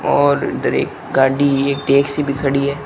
और इधर एक गाड़ी है टैक्सी भी खड़ी है।